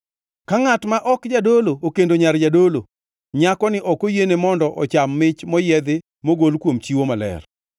Ka ngʼat ma ok jadolo okendo nyar jadolo, nyakoni ok oyiene mondo ocham mich moyiedhi mogol kuom chiwo maler.